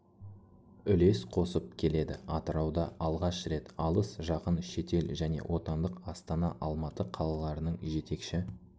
үлес қосып келеді атырауда алғаш рет алыс жақын шетел және отандық астана алматы қалаларының жетекші